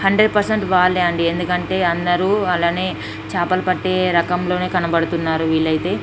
Hundred percent వాళ్లే అండి ఎందుకంటే అందరూ అలానే చేపలు పట్టేరకంగా కనపడుతున్నారు వీలైతే.